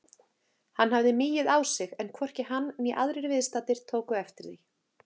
Hann hafði migið á sig en hvorki hann né aðrir viðstaddir tóku eftir því.